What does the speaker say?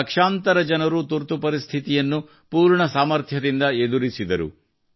ಲಕ್ಷಾಂತರ ಜನರು ತುರ್ತುಪರಿಸ್ಥಿತಿಯನ್ನು ಪೂರ್ಣ ಸಾಮರ್ಥ್ಯದಿಂದ ಎದುರಿಸಿದರು